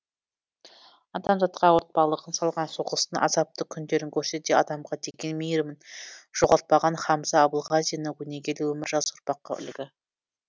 адамзатқа ауыртпалығын салған соғыстың азапты күндерін көрсе де адамға деген мейірімін жоғалтпаған хамза абылғазиннің өнегелі өмірі жас ұрпаққа үлгі